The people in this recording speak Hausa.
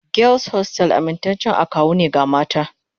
Girls hostels amintaccen akawu ne ga mata